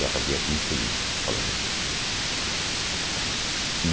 Já fazia quinze dias, pelo menos. E